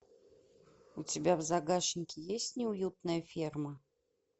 у тебя в загашнике есть неуютная ферма